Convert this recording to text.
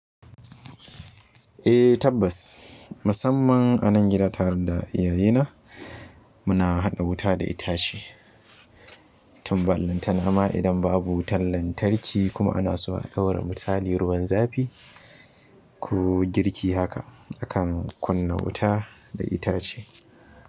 Eh tabbas musamman anan gida tare da iyayena muna haɗa wuta da itace. Tun ballantana ma idan babu wutar lantarki kuma ana so a ɗaura misali ruwan zafi ko girki haka akan kunna wuta da itace.